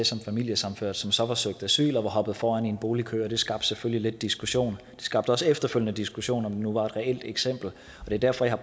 som familiesammenført som så havde søgt asyl og var hoppet foran i en boligkøb og det skabte selvfølgelig lidt diskussion det skabte også efterfølgende diskussion om det nu var et reelt eksempel det er derfor jeg